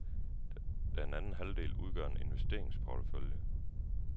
Den anden halvdel udgør en investeringsportefølje.